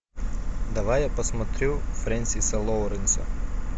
давай я посмотрю фрэнсиса лоуренса